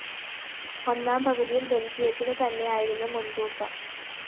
ഒന്നാം പകുതിയില്‍ ബെല്‍ജിയത്തിനു തന്നെയായിരുന്നു മുന്‍തൂക്കം